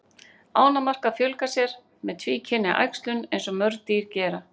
Ánamaðkar fjölga sér með tvíkynja æxlun eins og mörg dýr gera.